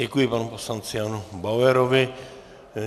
Děkuji panu poslanci Janu Bauerovi.